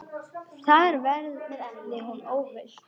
Þar verði hún óhult.